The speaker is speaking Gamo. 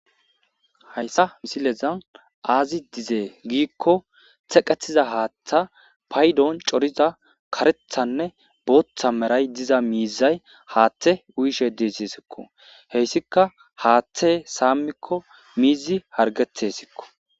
hayssa misileza aazi dizee giikko teqetiza haaththa paydoon coriza karethanne booththa meray diza miizay haaththe uyishe deeseesikko heyssika haaththe saammikko miizi hargete sikko